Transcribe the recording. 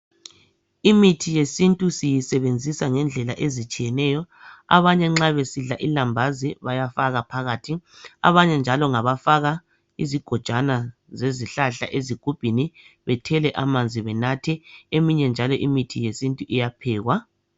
Imithi yesintu siyisebenzisa ngendlela ezitshiyeneyo abanye nxa besidla ilambazi bayafaka phakathi abanye njalo ngabafaka izigojwana zezihlahla ezigubhini bethele amanzi benathe, eminye njalo imithi yesintu iyaphekwa.